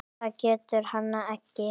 Það getur hann ekki.